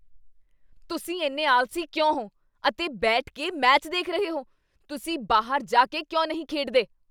ਤੁਸੀਂ ਇੰਨੇ ਆਲਸੀ ਕਿਉਂ ਹੋ ਅਤੇ ਬੈਠ ਕੇ ਮੈਚ ਦੇਖ ਰਹੇ ਹੋ? ਤੁਸੀਂ ਬਾਹਰ ਜਾ ਕੇ ਕਿਉਂ ਨਹੀਂ ਖੇਡਦੇ?